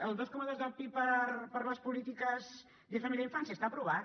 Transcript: el dos coma dos del pib per a les polítiques de família i infància està aprovat